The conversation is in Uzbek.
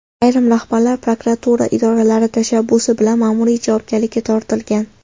Ayrim rahbarlar prokuratura idoralari tashabbusi bilan ma’muriy javobgarlikka tortilgan.